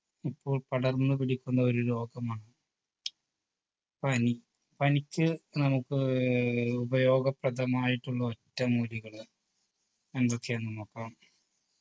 ഇപ്പോൾ പടർന്നു പിടിക്കുന്ന ഒരു രോഗമാണ് പനി പനിക്ക് നമുക്ക് ഏർ ഉപയോഗപ്രദമായിട്ടുള്ള ഒറ്റമൂലികൾ എന്തൊക്കെയാണെന്ന് നോക്കാം